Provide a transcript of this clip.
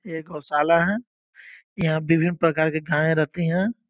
ये गौशाला है। यहाँ विभिन्न प्रकार के गाय रहती रहती हैं।